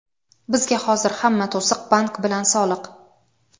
Bizga hozir hamma to‘siq — bank bilan soliq.